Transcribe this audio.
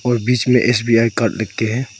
और बीच में एस_बी_आई कार्ड लिख के है।